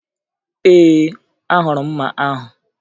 Ee, ahụrụ m mma ahụ